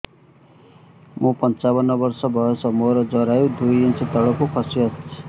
ମୁଁ ପଞ୍ଚାବନ ବର୍ଷ ବୟସ ମୋର ଜରାୟୁ ଦୁଇ ଇଞ୍ଚ ତଳକୁ ଖସି ଆସିଛି